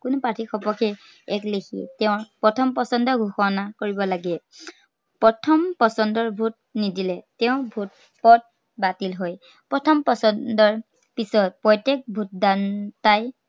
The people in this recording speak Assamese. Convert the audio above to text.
কোনো প্ৰাৰ্থীৰ সপক্ষে এক উম তেওঁ প্ৰথম পচন্দৰ ঘোষণা কৰিব লাগে। প্ৰথম পচন্দৰ vote নিদিলে, তেওঁৰ vote ত বাতিল হয়। প্ৰথম পচন্দৰ পিছত প্ৰত্য়েক vote দান~দাতাই